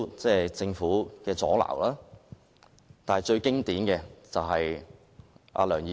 除政府作出阻撓外，最經典的是梁議員。